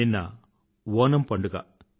నిన్న ఓణమ్ పండుగ